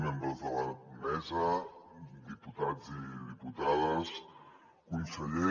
membres de la mesa diputats i diputades conseller